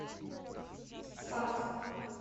спас